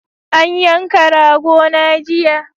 An yanka rago na jiya